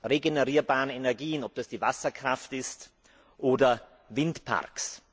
regenerierbaren Energien liegen, ob das die Wasserkraft ist oder Windparks.